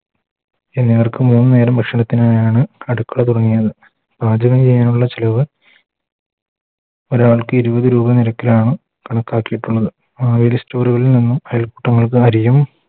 എല്ലാർക്കും മൂന്നു നേരം ഭക്ഷണത്തിനായാണ് അടുക്കള തുടങ്ങിയത് പാചകം ചെയ്യാനുള്ള നിരക്ക് ഒരാൾക്ക് ഇരുപത് രൂപ നിരക്കിലാണ് കണക്കാക്കിയിട്ടുള്ളത് മാവേലി Store കളിൽ നിന്നും അയൽക്കൂട്ടങ്ങൾക്ക് അരിയും